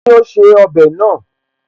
Kíni ó ṣe ọbẹ̀ náà?